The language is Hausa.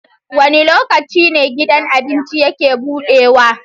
Wane lokaci ne gidan abincin yake buɗewa?